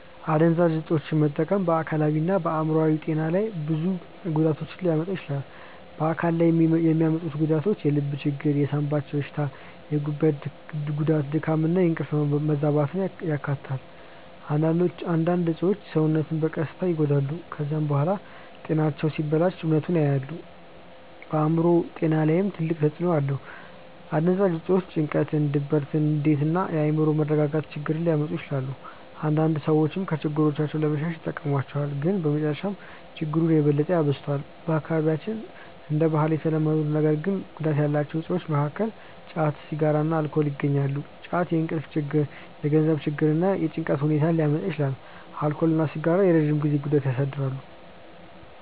አደንዛዥ እፆችን መጠቀም በአካላዊና በአእምሮአዊ ጤና ላይ ብዙ ጉዳቶችን ሊያመጣ ይችላል። በአካል ላይ የሚያመጡት ጉዳት የልብ ችግር፣ የሳንባ በሽታ፣ የጉበት ጉዳት፣ ድካም እና የእንቅልፍ መዛባትን ያካትታል። አንዳንድ እፆች ሰውነትን በቀስታ ይጎዳሉ። ከዚያ በኋላ ጤናቸው ሲበላሽ እውነቱን ያያሉ። በአእምሮ ጤና ላይም ትልቅ ተጽእኖ አለው። አደንዛዥ እፆች ጭንቀት፣ ድብርት፣ ንዴት እና የአእምሮ መረጋጋት ችግር ሊያመጡ ይችላሉ። አንዳንድ ሰዎች ከችግሮቻቸው ለመሸሽ ይጠቀሙባቸዋል፣ ግን በመጨረሻ ችግሩን የበለጠ ያባብሱታል። በአካባቢያችን እንደ ባህል የተለመዱ ነገር ግን ጉዳት ያላቸው እፆች መካከል ጫት፣ ሲጋራ እና አልኮል ይገኛሉ። ጫት የእንቅልፍ ችግር፣ የገንዘብ ችግር እና የጭንቀት ሁኔታ ሊያመጣ ይችላል። አልኮል እና ሲጋራ የረጅም ጊዜ ጉዳት ያሳድራሉ።